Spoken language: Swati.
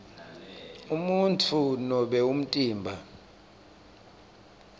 umuntfu nobe umtimba